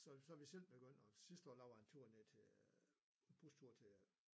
Så så er vi selv begyndt at sidste år der var en tur ned til øh en bustur ned til